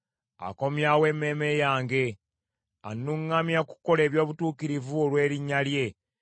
Akomyawo emmeeme yange. Annuŋŋamya okukola eby’obutuukirivu olw’erinnya lye.